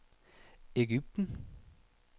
Ægypten